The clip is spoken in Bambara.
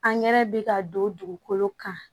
Angɛrɛ bɛ ka don dugukolo kan